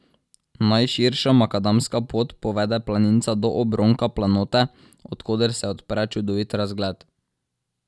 Najširša makadamska pot povede planinca do obronka planote, od koder se odpre čudovit razgled.